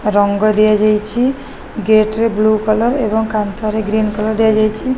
ରଙ୍ଗ ଦିଆଯାଇଚି ଗେଟ ରେ ବ୍ଲୁ କଲର୍ ଏବଂ କାନ୍ଥ ରେ ଗ୍ରୀନ କଲର୍ ଦିଆଯାଇଚି।